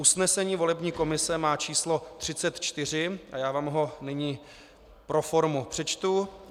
Usnesení volební komise má číslo 34, a já vám ho nyní pro formu přečtu.